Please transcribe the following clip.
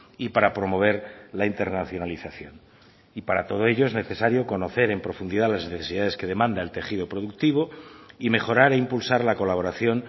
y para promover la internacionalización y para todo ello es necesario conocer en profundidad las necesidades que demanda el tejido productivo y mejorar e impulsar la colaboración